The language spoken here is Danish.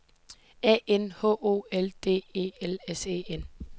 A N H O L D E L S E N